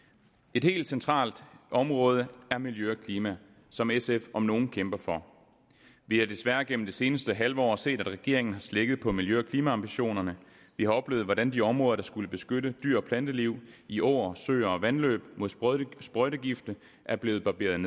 et helt centralt område er miljø og klima som sf om nogen kæmper for vi har desværre gennem det seneste halve år set at regeringen har slækket på miljø og klimaambitionerne vi har oplevet hvordan de områder der skulle beskytte dyr og planteliv i åer søer og vandløb mod sprøjtegifte er blevet barberet